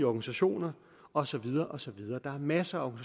organisationer og så videre og så videre der er masser